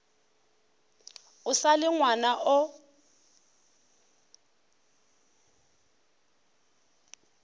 o sa le ngwana o